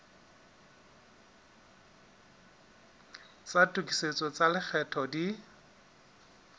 tsa tokisetso tsa lekgetho di